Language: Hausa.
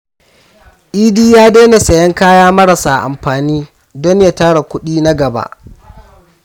Idi ya daina sayen kaya marasa amfani don ya tara kudi na gaba.